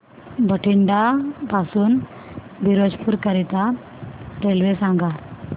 बठिंडा पासून फिरोजपुर करीता रेल्वे सांगा